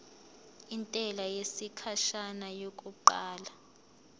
intela yesikhashana yokuqala